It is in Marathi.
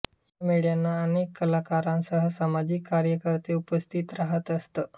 या मेळ्यांना अनेक कलाकारांसह सामाजिक कार्यकर्ते उपस्थित रहात असत